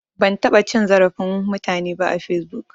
Ban taɓa cin zarafin mutane ba a fesbuk